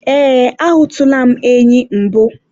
ee, a hụtụla m enyi mbụ